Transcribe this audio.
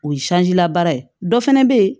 O ye sanji labaara ye dɔ fana bɛ yen